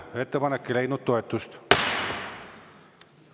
Ettepanek ei leidnud toetust.